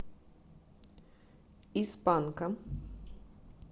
из панка